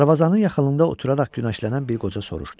Darvazanın yaxınlığında oturaraq günəşlənən bir qoca soruşdu.